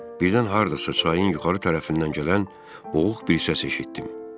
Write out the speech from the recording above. Birdən hardasa çayın yuxarı tərəfindən gələn boğuq bir səs eşitdim.